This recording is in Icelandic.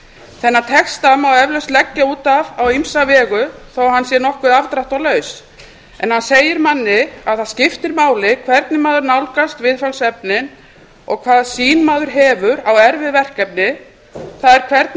þennan texta má eflaust leggja út af á ýmsa vegu þó að hann sé nokkuð afdráttarlaus en hann segir manni að það skiptir máli hvernig maður nálgast viðfangsefnin og hvaða sýn maður hefur á erfið verkefni það er hvernig